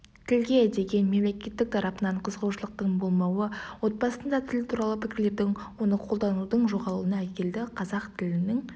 тілге деген мемлекет тарапынан қызығушылықтың болмауы отбасында тіл туралы пікірлердің оны қолданудың жоғалуына әкелді қазақ тілінің